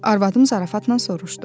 Arvadım zarafatla soruşdu.